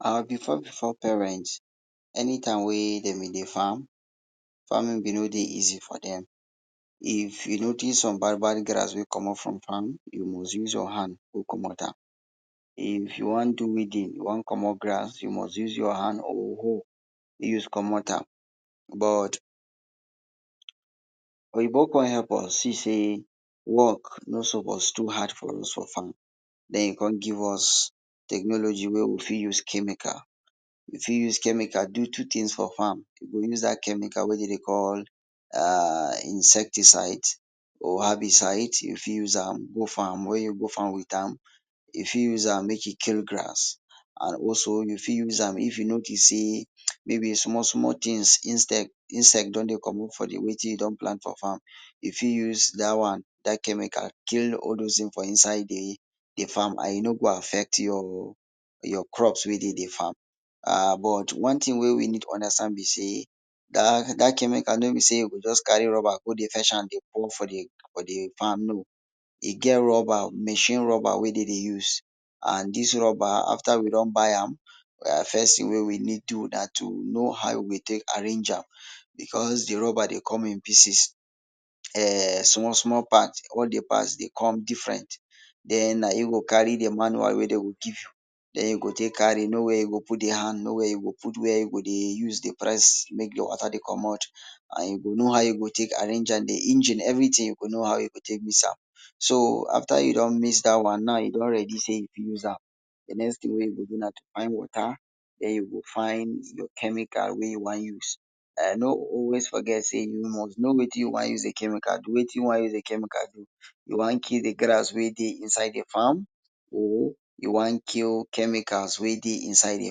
Our bifo bifo parent, enitaim wey dem be dey farm, farmin bi no dey easy for dem. If you notice some bad, bad grass wey comot for farm, you must use your hand tek comot am. If you wan do weedin, you wan comot grass, you must use your hand or a hoe, use comot am. But, oyinbo come help us see sey work no suppose too hard for us for farm, den, come give us technology wey we fit use chemical, we fit use chemical do two tins for farm, you go use dat chemical wey dem dey call insecticide or herbicide, you fit use am go farm, wen you go farm wit am, you fit use am mek im kill gras an also, you fit use am if you notice say, maybe small, small tins, insect…insect don dey comot for wetin you plant for farm, you fit use dat one, dat chemical kill all dose tins for inside de farm an e no go affect your crops wey dey de farm, an, but, one tin wey we need understand now be say dat chemical no be say you go just carry rubber go dey fetch am dey put am for de farm, no, e get rubber, machine rubber wey dem dey use, an dis rubber, after we don buy am, first tin we need do na to know how we go tek arrange am because, the rubber dey come in pieces, um small, small parts. All de parts dey come different, den, na you go come carry de manual wey dem go give you, den you go tek carry know where you go put de hand, know where you go put where you go dey use dey press mek your water dey comot an you go know how you go tek arrange am, de engine, everytin, you go know how you go tek mix am. So, after you don mix dat one now, you don ready say you fit use am. De tin you go do na to find water, den, you go find your chemical wey you wan use. Don’t always forget say you must know wetin you wan use de chemical do? You wan kill de grass wey dey inside de farm? Or you wan kill chemicals wey dey inside de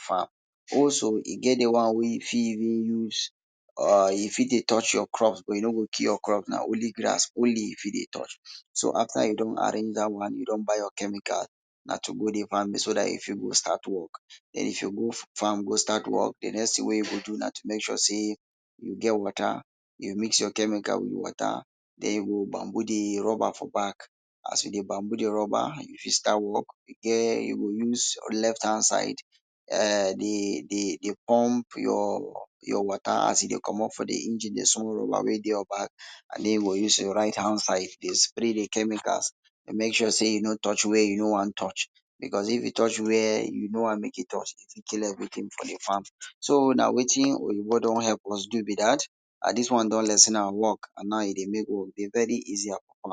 farm? Also, e get de one wey you fit even use um e fit dey touch your crops, but, e no go kill your crops, na only grass, only leaf e fit dey touch. So, after you don arrange dat one, you don buy your chemical, na to go so, you fit go start work and if you move farm go start work, de next tin wey you go do na to mek sure say you get water, you go mix your chemical with water, then you go bamboo de rubber for back, as you dey bamboo de rubber, you fit start work, den, you go use left hand side, um de pump, your water as e dey comot for de engine, de small rubber wey dey your back, you go use your right hand side dey spray de chemicals. Mek sure say e no touch where you no wan touch. If e touch where you no want mek e touch, e fit kill everytin for de farm. So, na wetin oyinbo don help us do be dat, and dis one don lessen our work and now, e dey mek work dey very easier for.